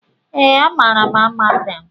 Ee, amaara m Amatem